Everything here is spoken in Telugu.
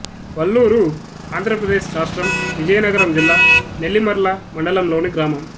వల్లూరు ఆంధ్ర ప్రదేశ్ రాష్ట్రం విజయనగరం జిల్లా నెల్లిమర్ల మండలం లోని గ్రామం